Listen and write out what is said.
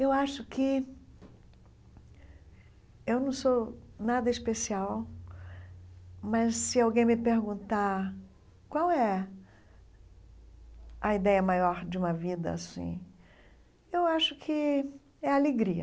Eu acho que eu não sou nada especial, mas se alguém me perguntar qual é a ideia maior de uma vida assim, eu acho que é a alegria.